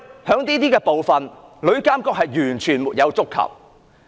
在這些方面，旅監局的職能完全沒有觸及。